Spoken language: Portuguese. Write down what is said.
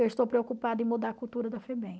Eu estou preocupada em mudar a cultura da Febem.